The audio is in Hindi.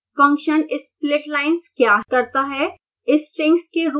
2 फंक्शन splitlines क्या करता है